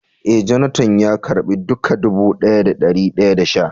Eh, " Jonathan" ya karba dukak dubu daya da dari daya da sha.